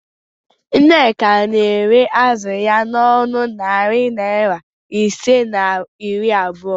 Nneka na-ere azụ ya n'ọnụ narị naịra ise na iri abụo